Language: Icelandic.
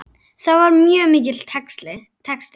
Það var mjög mikill texti.